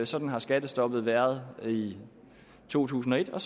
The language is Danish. sådan har skattestoppet været i to tusind og et og